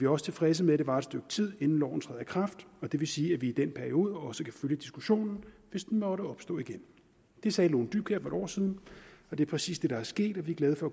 også tilfredse med at det varer et stykke tid inden loven træder i kraft og det vil sige at vi i den periode også kan følge diskussionen hvis den måtte opstå igen det sagde lone dybkjær for en år siden og det er præcis det der er sket og vi er glade for